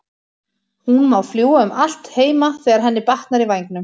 Hún má fljúga um allt heima þegar henni batnar í vængnum.